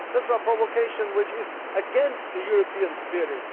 That is a provocation which is against the European spirit.